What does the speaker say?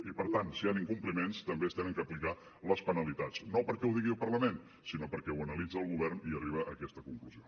i per tant si hi han incompliments també s’han d’aplicar les penalitats no perquè ho digui el parlament sinó perquè ho analitza el govern i arriba a aquesta conclusió